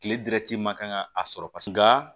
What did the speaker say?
Kile dɛrɛti ma kan ka a sɔrɔ paseke nga